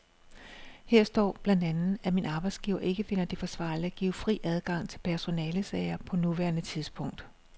Her står blandt andet, at min arbejdsgiver ikke finder det forsvarligt at give fri adgang til personalesager på nuværende tidspunkt.